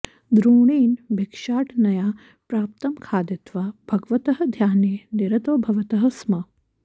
द्रोणेन भिक्षाटनया प्राप्तं खादित्वा भगवतः ध्याने निरतौ भवतः स्म